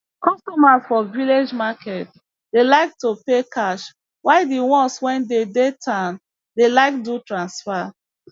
customers for village market dey like to pay cash while di ones wey dey dey town dey like do transfer